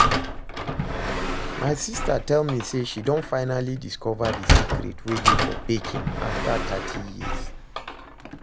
My sister tell me say she don finally discover the secret wey dey for baking after thirty years